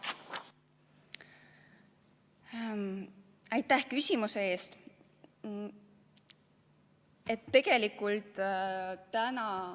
Aitäh küsimuse eest!